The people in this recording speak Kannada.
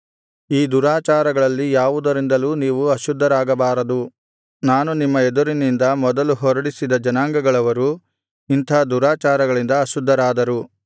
ಈ ದುರಾಚಾರಗಳಲ್ಲಿ ಯಾವುದರಿಂದಲೂ ನೀವು ಅಶುದ್ಧರಾಗಬಾರದು ನಾನು ನಿಮ್ಮ ಎದುರಿನಿಂದ ಮೊದಲು ಹೊರಡಿಸಿದ ಜನಾಂಗಗಳವರು ಇಂಥ ದುರಾಚಾರಗಳಿಂದ ಅಶುದ್ಧರಾದರು